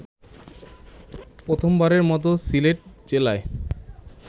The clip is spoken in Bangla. প্রথমবারের মত সিলেট জেলায়